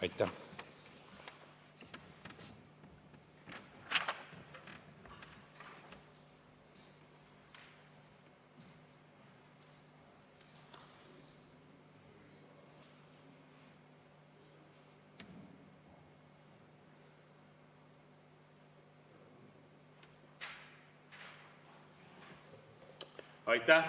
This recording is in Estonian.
Aitäh!